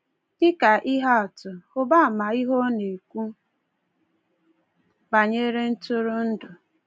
Dị ka ihe atụ, hụba ama ihe ọ na-ekwu banyere ntụrụndụ.